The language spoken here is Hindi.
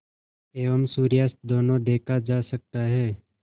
एवं सूर्यास्त दोनों देखा जा सकता है